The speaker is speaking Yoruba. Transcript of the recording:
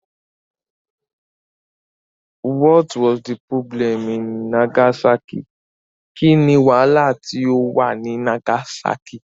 What was the problem in Nagasaki? Kín ni wàhálà tí ó wà ní Nagasákì?